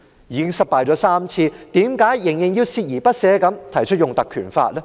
已經失敗了3次，為何仍然鍥而不捨地提出引用《條例》呢？